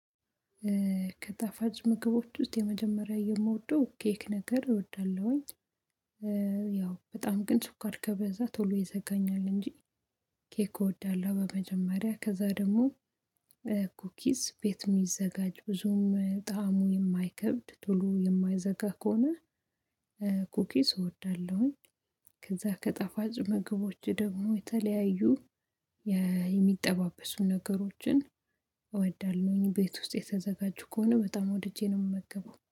ከጣፋጭ ምግቦች ውስጥ የመጀመሪያ የምወደው ኬክ ነገር እወዳለሁኝ። ያው በጣም ግን ሱኳር ከበዛ ቶሎ ይዘጋኛል እንጂ ኬክ እወዳለሁ። በመጀመሪያ ከዛ ደግሞ ኩኪስ ቤት የሚዘጋጅ ብዙም ጣዕሙ የማይከብድ ቶሎ የማይዘጋ ከሆነ ኩኪስ እወዳለሁኝ። ከዛ ከጠፋጭ ምግቦች ደግሞ የተለያዩ የሚጠባበሱ ነገሮችን እወዳለሁኝ ቤት ውስጥ የተዘጋጁ ከሆነ በጣም ወድጄ ነው የምመገበው።